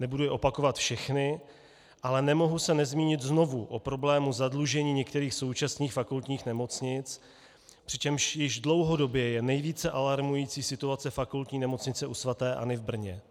Nebudu je opakovat všechna, ale nemohu se nezmínit znovu o problému zadlužení některých současných fakultních nemocnic, přičemž již dlouhodobě je nejvíce alarmující situace Fakultní nemocnice u svaté Anny v Brně.